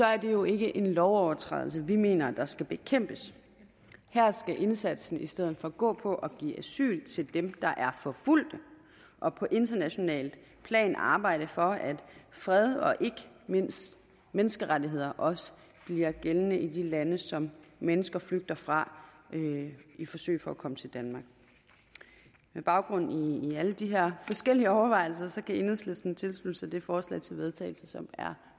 er det jo ikke en lovovertrædelse vi mener skal bekæmpes her skal indsatsen i stedet for gå på at give asyl til dem der er forfulgte og på internationalt plan arbejde for at fred og ikke mindst menneskerettigheder også bliver gældende i de lande som mennesker flygter fra i forsøget på at komme til danmark med baggrund i alle de her forskellige overvejelser kan enhedslisten tilslutte sig det forslag til vedtagelse som er